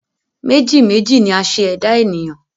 Meji méjì ni a ṣe ẹ̀dá ènìyàn